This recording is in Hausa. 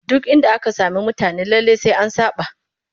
Duk inda aka sami mutane lallai sai an saɓa